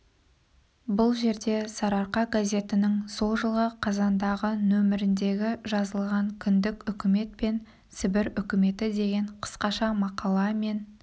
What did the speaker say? бұл жерге сарыарқа газетінің сол жылғы қазандағы нөміріндегі жазылған кіндік үкімет пен сібір үкіметі деген қысқаша мақала мен